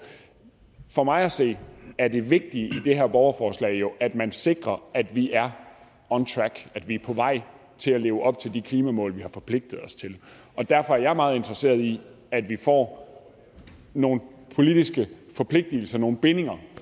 for mig at se er det vigtige i det her borgerforslag jo at man sikrer at vi er on track at vi er på vej til at leve op til de klimamål vi har forpligtet os til og derfor er jeg meget interesseret i at vi får nogle politiske forpligtelser nogle bindinger